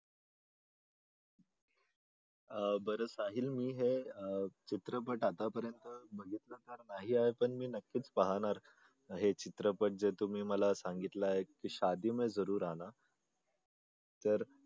बरं साहिल मी हे चित्रपट आतापर्यंत यार पण मी नक्कीच पाहणार हे चित्रपट जे तुम्हाला सांगितले आहे की तर